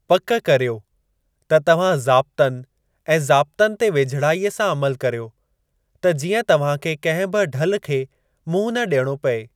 पक करियो त तव्हां ज़ाब्तनि ऐं ज़ाब्तनि ते वेझिड़ाई सां अमलु करियो त जीअं तव्हां खे कंहिं बि ढल खे मुंहुं न ॾियणो पिए।